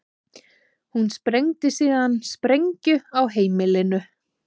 Hún sprengdi síðan sprengju á heimilinu